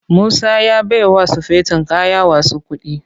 Musa ya baiwa sufeton kaya wasu kuɗi.